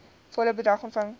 volle bedrag ontvang